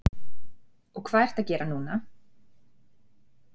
Og hvað ertu að gera núna?